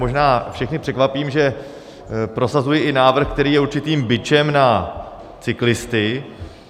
Možná všechny překvapím, že prosazuji i návrh, který je určitým bičem na cyklisty.